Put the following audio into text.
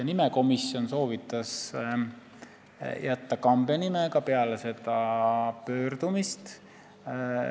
Nimekomisjon soovitas jätta Kambja nime, ka peale seda pöördumist.